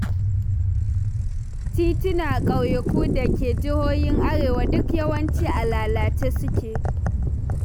Titunan ƙauyuka da ke jihohin Arewa duk yawanci a lalace suke.